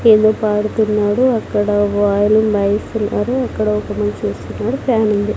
ఏందో పాడుతున్నాడు అక్కడ వాళ్ళు ఉన్నారు అక్కడ పని చేస్కుంటాడు ఫ్యానుంది .